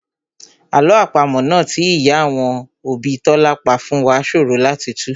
Àlọ́ àpamọ́ náà tí ìyá àwọn òbí Tọ́lá pa fún wá ṣòro láti tù